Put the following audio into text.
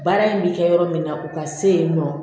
Baara in bɛ kɛ yɔrɔ min na o ka se yen nɔ